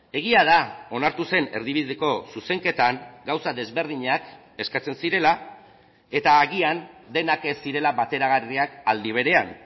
egia da onartu zen erdibideko zuzenketan gauza desberdinak eskatzen zirela eta agian denak ez zirela bateragarriak aldi berean